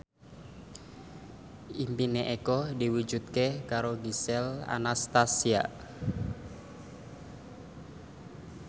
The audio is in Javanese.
impine Eko diwujudke karo Gisel Anastasia